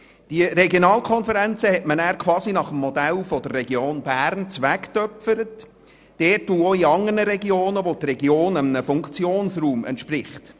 Die Regionalkonferenzen hat man dann nach dem Modell der Region Bern geschaffen, wo die Region einem Funktionsraum entspricht.